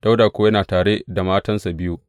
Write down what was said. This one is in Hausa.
Dawuda kuwa yana tare da matansa biyu.